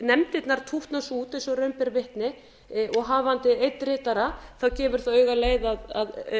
nefndirnar tútna svo út eins og raun ber vitni og hafandi einn ritara gefur það auga leið að